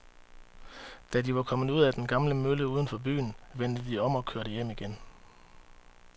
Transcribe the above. Da de var kommet ud til den gamle mølle uden for byen, vendte de om og kørte hjem igen.